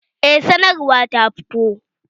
Eh sanarwa ta fito